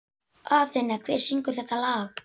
Athena, hver syngur þetta lag?